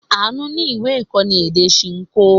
Àánú ní ìwé-ìkọ́ni èdè Ṣinkó.